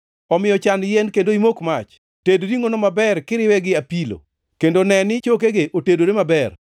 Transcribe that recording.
Omiyo chan yien kendo imok mach. Ted ringʼono maber, kiriwe gi apilo; kendo ne ni chokegi otedore maber.